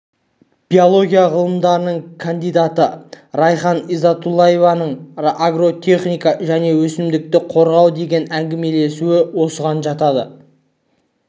биология ғылымдарының кандидаты райхан изатуллаеваның агротехника және өсімдікті қорғау деген әңгімелесуі осыған жатады